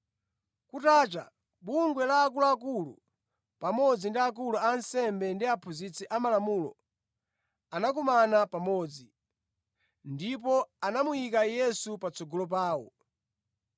Kutacha, bungwe la akuluakulu, pamodzi ndi akulu a ansembe ndi aphunzitsi amalamulo, anakumana pamodzi, ndipo anamuyika Yesu patsogolo pawo.